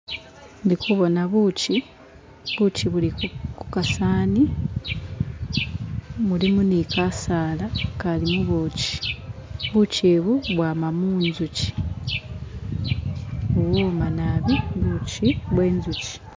Ndi kuboona ubuchi, ubuchi buli ku kasawani, mulimo ni kasaala akali mu buchi, buchi ubu bwama mu njuchi, buwoma naabi ubuchi bwenjuchi